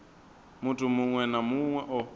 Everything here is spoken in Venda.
muthu muṅwe na muṅwe o